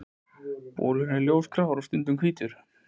Bolurinn er ljósgrárri og stundum hvítur.